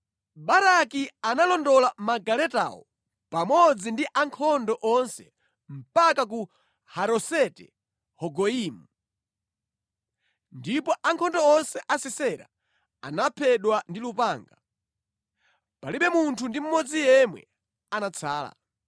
Baraki analondola magaletawo pamodzi ndi ankhondo onse mpaka ku Haroseti-Hagoyimu, ndipo ankhondo onse a Sisera anaphedwa ndi lupanga. Palibe munthu ndi mmodzi yemwe anatsala.